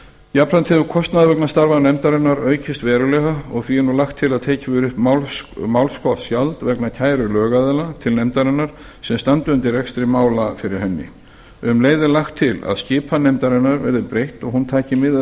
jafnframt hefur kostnaður vegna starfa nefndarinnar aukist verulega og því er nú lagt til að tekið verði upp málskotsgjald vegna kæru lögaðila til nefndarinnar sem standi undir rekstri mála fyrir henni um leið er lagt til að skipan nefndarinnar verði breytt og hún taki mið af